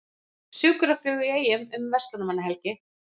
Sjúkraflugvél í Eyjum um verslunarmannahelgi